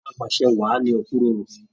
Apasẹ́ wáá ni okuroro.